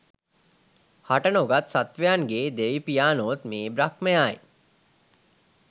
හට නොගත් සත්ත්වයන්ගේ දෙවි පියාණෝත් මේ බ්‍රහ්මයායි.